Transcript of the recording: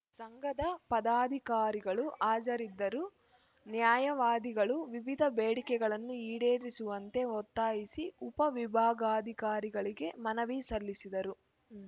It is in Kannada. ಸಂಘದ ಪದಾಧಿಕಾರಿಗಳು ಹಾಜರಿದ್ದರು ನ್ಯಾಯವಾದಿಗಳು ವಿವಿಧ ಬೇಡಿಕೆಗಳನ್ನು ಈಡೇರಿಸುವಂತೆ ಒತ್ತಾಯಿಸಿ ಉಪವಿಭಾಗಾಧಿಕಾರಿಗಳಿಗೆ ಮನವಿ ಸಲ್ಲಿಸಿದರು